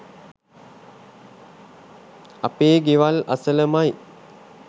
අපේ ගෙවල් අසලමයි